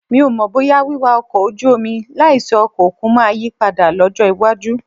Mi ò mọ̀ bóyá wíwá ọkọ̀ ojú omi láìsí ọkọ̀ òkun máa yí padà lọ́jọ́ iwájú